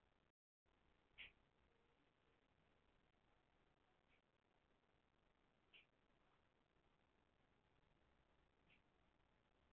Fyrir vikið ríkir aðdráttarkraftur milli andstæðra hleðslna á aðskildum vatnssameindum sem orsakar vetnistengi.